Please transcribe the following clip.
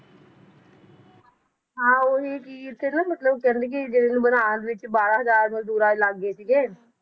ਹਾਂ ਓਹੀ ਕਿ ਇਥੇ ਨਾ ਮਤਲਬ ਕਹਿੰਦੇ ਕਿ ਜੇ ਇਹਨੂੰ ਬਣਾਉਣ ਵਿੱਚ ਬਾਰਾਂ ਹਜ਼ਾਰ ਮਜਦੂਰਾਂ ਲਗ ਗਏ ਸੀਗੇ